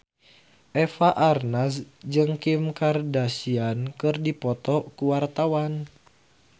Eva Arnaz jeung Kim Kardashian keur dipoto ku wartawan